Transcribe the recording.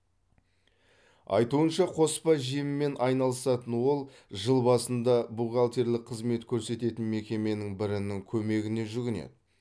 айтуынша қоспа жеммен айналысатын ол жыл басында бухгалтерлік қызмет көрсететін мекеменің бірінің көмегіне жүгінеді